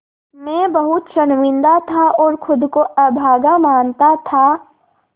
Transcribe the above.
मैं बहुत शर्मिंदा था और ख़ुद को अभागा मानता था